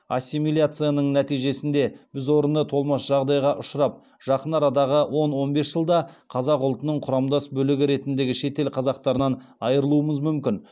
ассимиляцияның нәтижесінде біз орны толмас жағдайға ұшырап жақын арадағы он он бес жылда қазақ ұлтының құрамдас бөлігі ретіндегі шетел қазақтарынан айырылуымыз мүмкін